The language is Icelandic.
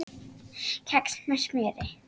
Kex með smjöri